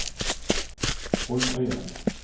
Holmøyane